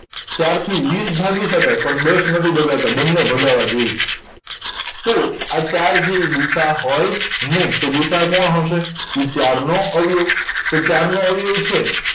ચારથી વીસ ભાગી શકાય પણ દસ નથી ભગાતા બંને ભગાવા જોયે તો આ ચાર છે ઇ ગુસાઅ હોય નય તો ગુસાઅ કોણ હશે ઇ ચારનો અવયવ તો ચારનો અવયવ છે